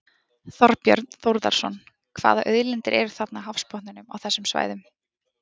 Þorbjörn Þórðarson: Hvaða auðlindir eru þarna á hafsbotninum á þessum svæðum?